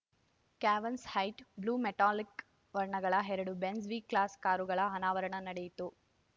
cavansite blue metallic ವರ್ಣಗಳ ಎರಡು Benz V class ಕಾರುಗಳ ಅನಾವರಣ ನಡೆಯಿತು